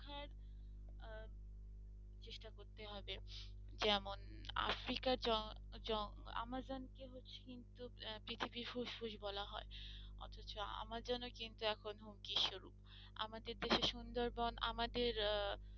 করতে হবে যেমন আফ্রিকার জঙ্গল আমাজন কে পৃথিবীর ফুসফুস বলা অথচ আমাজনও কিন্তু এখন হুমকি শুরু। এখন আমাদের দেশে সুন্দরবন আমাদের